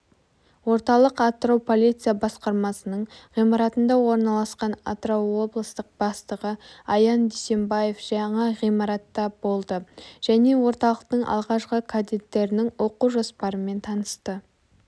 орталық атырау полиция басқармасының ғимаратында орналасқан атырау облыстық бастығы аян дүйсембаев жаңа ғимаратта болды және орталықтың алғашқы кадеттерінің оқу жоспарымен танысты